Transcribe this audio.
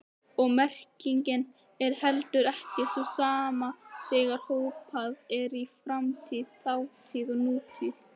Og merkingin er heldur ekki sú sama þegar hoppað er í framtíð, þátíð og nútíð.